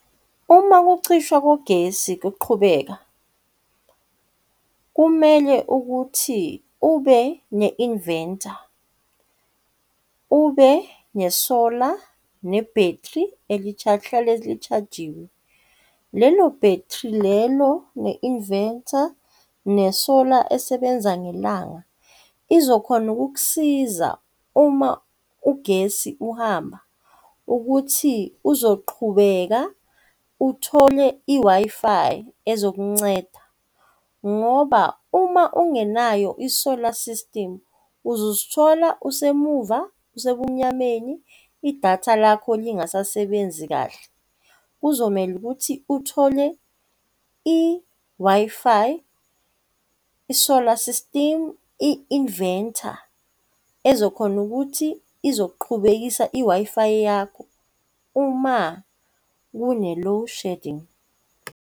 Uma ukucishwa kogesi kuqhubeka, kumele ukuthi ube ne-inventor, ube ne-solar ne-battery lihlale li-charge-iwe. Lelo-battery lelo, ne-inventor, ne-solar esebenza ngelanga, izokhona ukukusiza uma ugesi uhamba ukuthi uzoqhubeka uthole i-Wi-Fi ezokunceda ngoba uma ungenayo i-solar system uzozithola usemuva, usebumnyameni, i-datha lakho lingasasebenzi kahle. Kuzomele ukuthi uthole i-Wi-Fi, i-solar system, i-inventor ezokhona ukuthi izoqhubekisa i-Wi-Fi yakho uma kune-load shedding.